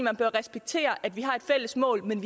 at man respekterer at vi har et fælles mål men